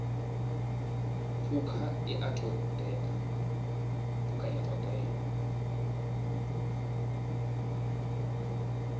phukha i a ṱo ḓea